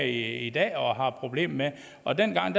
i dag og har et problem med og dengang